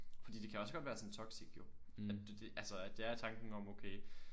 Fordi det kan også godt være sådan toxic jo at det det altså at det er tanken om okay